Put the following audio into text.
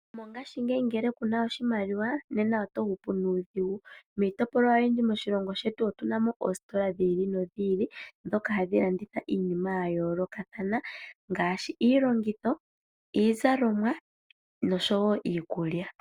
Mongashingeyi ngele kuna oshimaliwa nena oto hupu nuudhingu. Miitopolwa oyindji moshilongo shetu otu namo oositola dhi ili nodhi ili dhoka hadhi landitha iinima ya yoolokathana ngaashi iilongitho, iizalomwa nosho wo iikulya.